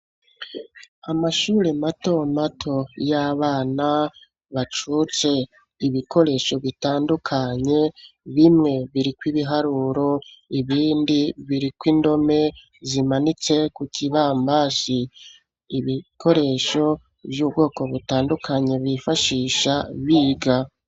Amashure mato mato y'abana bacutse, ibikoresho bitandukanye bimwe biriko ibiharuro, ibindi biriko indome zimanitse ku kibambasi, ibikoresho vy'ubwoko bitandukanye bifashisha biga.